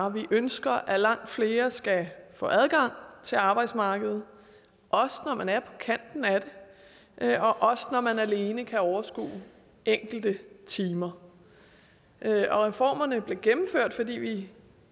at vi ønsker at langt flere skal få adgang til arbejdsmarkedet også når man er på kanten af det og også når man alene kan overskue enkelte timer og reformerne blev gennemført fordi vi